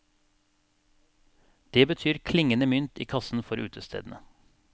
Det betyr klingende mynt i kassen for utestedene.